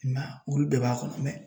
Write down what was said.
I m'a ye olu bɛɛ b'a kɔnɔ